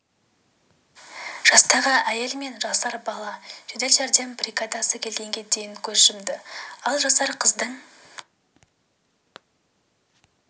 жастағы әйел мен жасар бала жедел жәрдем бригадасы келгенге дейін көз жұмды ал жасар қыздың